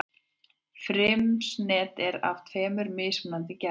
Frymisnet er af tveimur mismunandi gerðum.